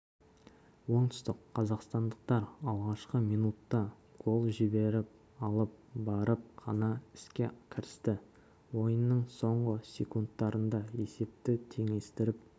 оңтүстік қазақстандықтар алғашқы минутта гол жіберіп алып барып қана іске кірісті ойынның соңғы секундтарында есепті теңестіріп